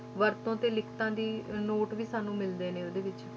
ਵਰਤੋਂ ਤੇ ਲਿਖਤਾਂ ਦੀ ਨੋਟ ਵੀ ਸਾਨੂੰ ਮਿਲਦੇ ਨੇ ਉਹਦੇ ਵਿੱਚ,